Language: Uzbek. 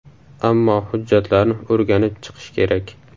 Ammo hujjatlarni o‘rganib chiqish kerak.